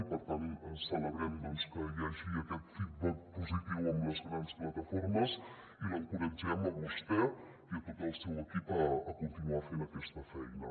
i per tant celebrem doncs que hi hagi aquest feedback positiu amb les grans plataformes i l’encoratgem a vostè i a tot el seu equip a conti·nuar fent aquesta feina